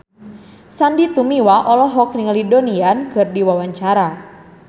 Sandy Tumiwa olohok ningali Donnie Yan keur diwawancara